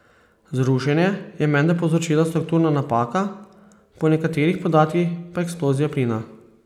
Zrušenje je menda povzročila strukturna napaka, po nekaterih podatkih pa eksplozija plina.